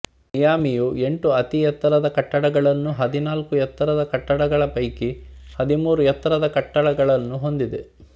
ಮಿಯಾಮಿಯು ಎಂಟು ಅತಿ ಎತ್ತರದ ಕಟ್ಟಡಗಳನ್ನು ಹದಿನಾಲ್ಕು ಎತ್ತರದ ಕಟ್ಟಡಗಳ ಪೈಕಿ ಹದಿಮೂರು ಎತ್ತರದ ಕಟ್ಟಡಗಳನ್ನೂಹೊಂದಿದೆ